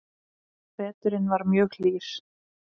Veturinn var mjög hlýr